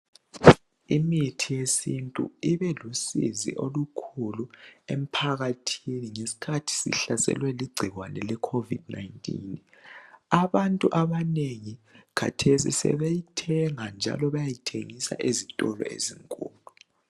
imithi yesintu ibelusizi olukhulu emphakathini ngesikhathi sihlaselwe ligcikwane le COVID 19 abantu abanengi khathesi sebeyithenga njalo bayayithengisa ezitolo ezinkulu